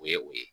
O ye o ye